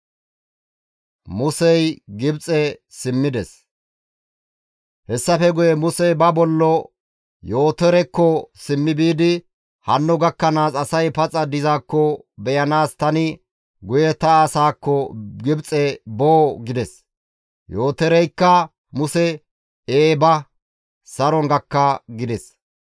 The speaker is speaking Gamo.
Hessafe guye Musey ba bollo, Yootorekko simmi biidi, «Hanno gakkanaas asay paxa dizaakko beyanaas tani guye ta asaakko Gibxe boo?» gides. Yootoreykka Muse, «Ee ba; saron gakka» gides.